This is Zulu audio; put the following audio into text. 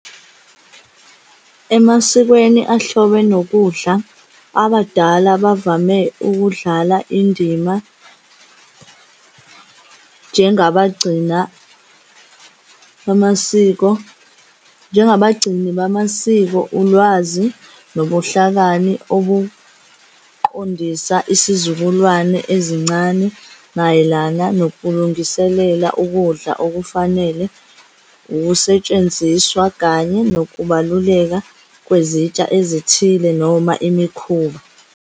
Emasikweni ahlobene nokudla, abadala bavame ukudlala indima, njengabagcina bamasiko, njengabagcini bamasiko, ulwazi, nobuhlakani obuqondisa isizukulwane ezincane mayelana nokulungiselela ukudla okufanele, wukusetshenziswa kanye nokubaluleka kwezitsha ezithile noma imikhuba.